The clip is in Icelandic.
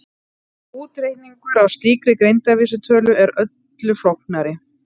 Útreikningur á slíkri greindarvísitölu er öllu flóknari.